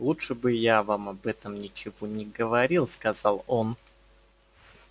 лучше бы я вам об этом ничего не говорил сказал он